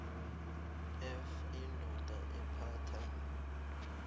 f indoda ephatha